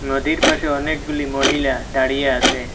নদীর পাশে অনেকগুলি মহিলা দাঁড়িয়ে আসে।